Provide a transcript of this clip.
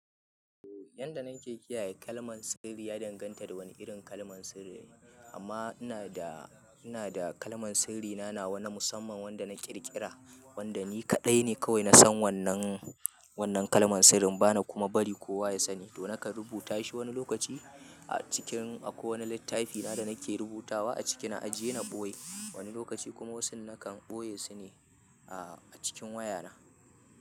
Yadda na ke kiyaye kalman sirri, ya danganta da wani irin kalman sirri ne. Amma ina da, ina da kalman sirri na, nawa wani musamman wanda na ƙirƙira, wanda ni kaɗai ne kawai na san wannan, wannan kalman sirrin bana kuma bari kowa ya sani. To nakan rubuta shi wani lokaci a cikin akwai wani littafina da nake rubutawa a cikin ajiye na ɓoye. Wani lokaci kuma wasu nakan ɓoye su ne a cikin wayana.